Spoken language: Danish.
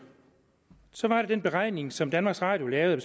den beregning som danmarks radio lavede af